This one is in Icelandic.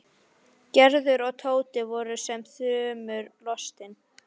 Gerður og Tóti voru sem þrumu lostin.